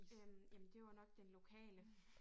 Øh jamen det var jo nok den lokale